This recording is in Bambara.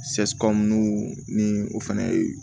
ni o fɛnɛ ye